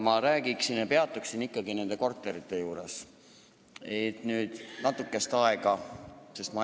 Mina peatuksin ikkagi natukest aega nende korterite juures.